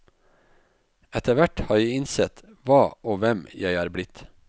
Etter hvert har jeg innsett hva og hvem jeg er blitt.